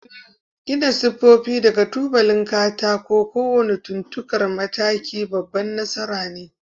Gina sifofi daga tubalan katako: kowane kunkuntar mataki babban nasara ne